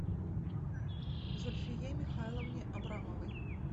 зульфие михайловне абрамовой